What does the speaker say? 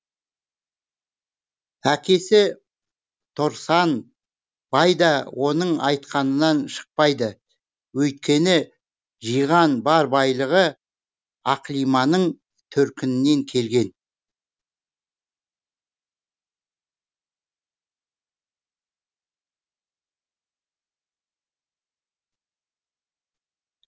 әкесі торсан бай да оның айтқанынан шықпайды өйткені жиған бар байлығы ақлиманың төркінінен келген